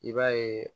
I b'a ye